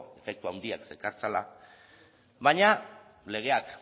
efektu handiak zekartzala baina legeak